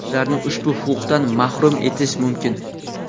ularni ushbu huquqdan mahrum etish mumkin.